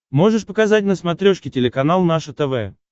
можешь показать на смотрешке телеканал наше тв